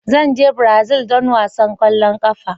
Zan je Brazil don wasan kwallon kafa.